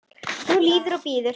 Nú líður og bíður.